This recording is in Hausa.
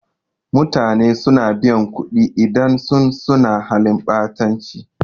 Mutane suna biyan kuɗi idan sun suna halin ɓatanci